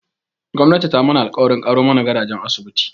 Gwamnati ta mana alƙawarin ƙaro mana gadajen asibiti